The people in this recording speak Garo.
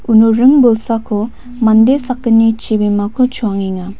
uno ring bolsako mande sakgni chibimako choangenga.